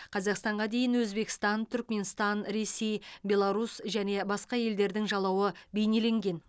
қазақстанға дейін өзбекстан түрікменстан ресей беларусь және басқа елдердің жалауы бейнеленген